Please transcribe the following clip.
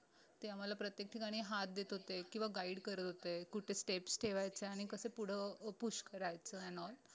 ते आम्हाला प्रत्येक ठिकाणी हात देत होते किंवा guide करत होते कुठे steps ठेवायचे आणि कसे पुढे push करायचं n all